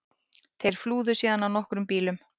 Þeir flúðu síðan á nokkrum bílum